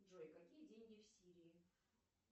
джой какие деньги в сирии